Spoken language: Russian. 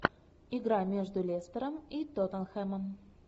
игра между лестером и тоттенхэмом